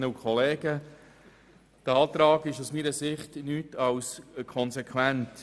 Dieser Antrag ist aus meiner Sicht konsequent.